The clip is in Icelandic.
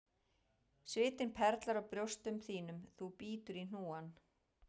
Svitinn perlar á brjóstum þínum þú bítur í hnúann,